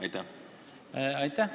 Aitäh!